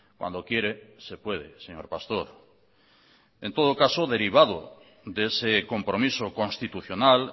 cuando quiere se puede señor pastor en todo caso derivado de ese compromiso constitucional